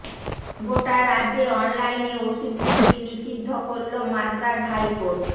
গোটা রাজ্যে অনলাইনে ওষুধ বিক্রি নিষিদ্ধ করল মাদ্রাজ হাইকোর্ট